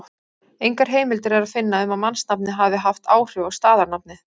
Engar heimildir er að finna um að mannsnafnið hafi haft áhrif á staðarnafnið.